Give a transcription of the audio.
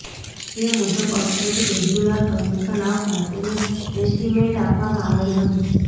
જે મુજબ અત્રેથી રેગ્યુલર કનેક્શન આવતા તેને એસ્ટીમેન્ટ આપવામાં આવેલ હતું